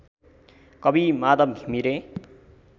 कवि माधव घिमिरे